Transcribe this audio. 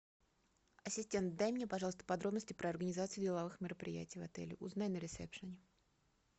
ассистент дай мне пожалуйста подробности про организацию деловых мероприятий в отеле узнай на ресепшене